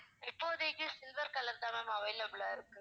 இப்போதைக்கு silver color தான் ma'am available ஆ இருக்கு